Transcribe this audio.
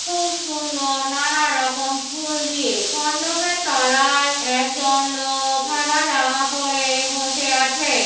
খুব সুন্দর নানা রকম ফুল দিয়ে মন্ডপের তলায় একজন লোক সাদা জামা পরে বসে আছে।